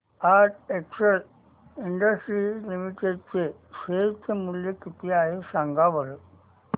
आज Excel Industries Limited चे share चे मूल्य किती आहे सांगा बरं